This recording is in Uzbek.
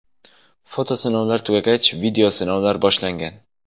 Foto sinovlar tugagach, video sinovlar boshlangan.